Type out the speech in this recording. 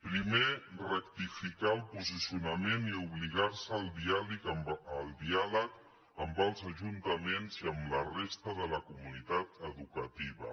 primer rectificar el posicionament i obligar se al diàleg amb els ajuntaments i amb la resta de la comunitat educativa